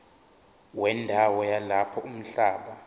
wendawo yalapho umhlaba